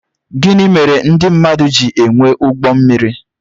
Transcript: Gịnị mèrè ndị mmadụ jị enwè ụgbọ mmiri?